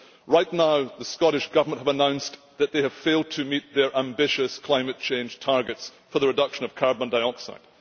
Right now, the Scottish Government have announced that they have failed to meet their ambitious climate change targets for the reduction of carbon dioxide.